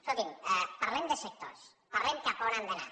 escolti’m parlem de sectors parlem cap a on hem d’anar